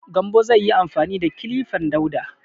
Gambo zai yi amfani da kilifan Dauda.